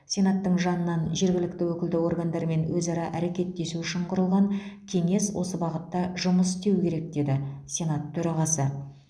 сенаттың жанынан жергілікті өкілді органдармен өзара әрекеттесу үшін құрылған кеңес осы бағытта жұмыс істеуі керек деді сенат төрағасы